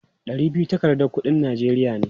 Ɗari biyu takardar kuɗin Najeriya ne.